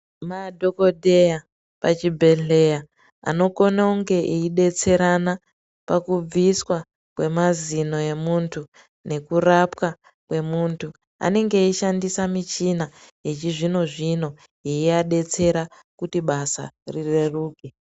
Madhogodheya pachibhedhleya anokona unge eibetserana pakubviswa kwemazino emuntu nekurapwa kwemuntu. Anenge eishandisa michina yechizvino-zvino yeiabetsera kuti basa rireruke.